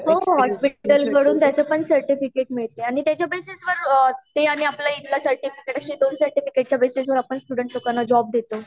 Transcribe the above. हो हो हॉस्पिटल कडून ज्याच पण सर्टिफिकेट मिळते आणि त्याच्या बेसिस वर ते आणि आपल्या ईथल सर्टिफिकेट अश्या दोन सर्टिफिकेट वर आपण स्टूडेंट लोकाना जॉब देतो